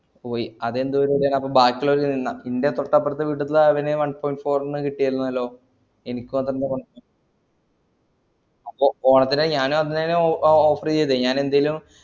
ഹൊയ് അതെന്ത് പരിപാടിയാണപ്പോ ബാക്കിള്ളോര് ന്റെ തോട്ടടുത്ത വീട്ടിത്തൊന് one point four ന് കിട്ടീട്നല്ലോ എനിക്ക് മാത്രന്താ ഒ ഓണത്തിന് ഞാനും അതെന്നെ ഒ offer ഇതേ ഞാന് എന്തേലും